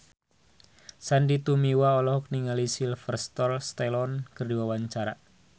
Sandy Tumiwa olohok ningali Sylvester Stallone keur diwawancara